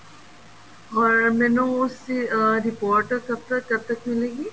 or ਮੈਨੂੰ ਉਸ ਉਸ ਦੀ report ਕਬ ਤੱਕ ਕਦ ਤੱਕ ਮਿਲੇਗੀ